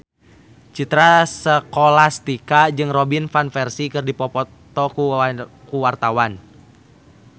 Citra Scholastika jeung Robin Van Persie keur dipoto ku wartawan